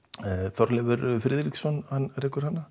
Þorleifur Friðriksson rekur hana